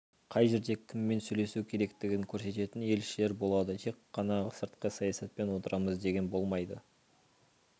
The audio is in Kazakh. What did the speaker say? қай жерде кіммен сөйлесу керектігін көрсететін елшілер болады тек қана сыртқы саясатпен отырамыз деген болмайды